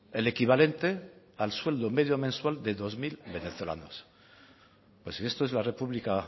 el equivalente del sueldo medio mensual de dos mil venezolanos pues si esto es la república